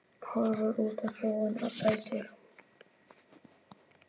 Horfir út á sjóinn og dæsir.